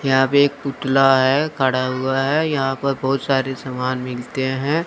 यहां पे एक पुतला है खड़ा हुआ है यहां पर बहुत सारी सामान मिलते हैं।